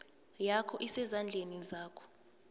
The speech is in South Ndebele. yakho isezandleni zakho